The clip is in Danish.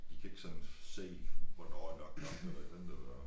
De kan ikke sådan se hvornår er nok nok eller et eller andet eller